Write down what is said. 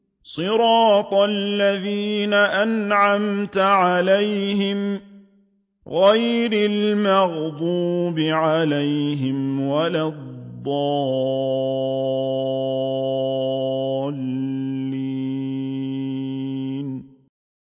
صِرَاطَ الَّذِينَ أَنْعَمْتَ عَلَيْهِمْ غَيْرِ الْمَغْضُوبِ عَلَيْهِمْ وَلَا الضَّالِّينَ